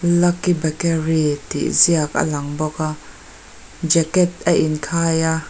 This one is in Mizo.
lucky bakery tih ziak a lang bawk a jacket ain khai a.